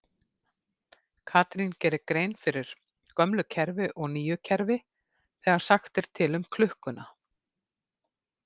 Katrín gerir grein fyrir gömlu kerfi og nýju kerfi þegar sagt er til um klukkuna.